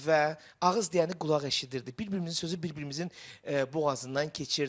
Və ağız deyəni qulaq eşidirdi, bir-birimizin sözü bir-birimizin boğazından keçirdi.